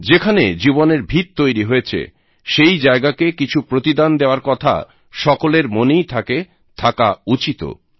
যেখানে জীবনের ভীত তৈরী হয়েছে সেই জায়গাকে কিছু প্রতিদান দেওয়ার কথা সকলের মনেই থাকে থাকা উচিতও